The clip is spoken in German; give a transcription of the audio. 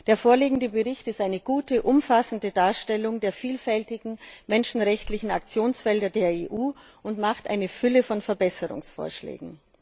Der vorliegende Bericht ist eine gute, umfassende Darstellung der vielfältigen menschenrechtlichen Aktionsfelder der EU und macht eine Fülle von Verbesserungsvorschlägen.